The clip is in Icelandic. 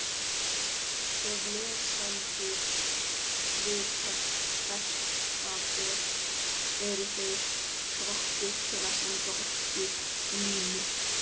Ef lesendur vita hvert það er, eru þeir hvattir til að senda okkur línu.